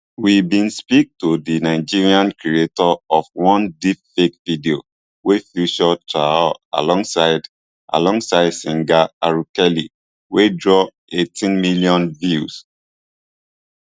we bin speak to di nigerian creator of one deepfake video wey feature traor alongside alongside singer r kelly wey draw eighteen million views